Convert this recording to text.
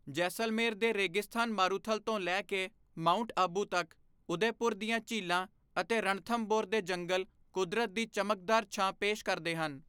ਜੈਸਲਮੇਰ ਦੇ ਰੇਗਿਸਤਾਨ ਮਾਰੂਥਲ ਤੋਂ ਲੈ ਕੇ ਮਾਊਂਟ ਆਬੂ ਤੱਕ, ਉਦੈਪੁਰ ਦੀਆਂ ਝੀਲਾਂ ਅਤੇ ਰਣਥੰਭੌਰ ਦੇ ਜੰਗਲ ਕੁਦਰਤ ਦੀ ਚਮਕਦਾਰ ਛਾਂ ਪੇਸ਼ ਕਰਦੇ ਹਨ।